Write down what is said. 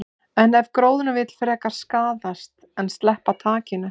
En ef gróðurinn vill frekar skaðast en sleppa takinu?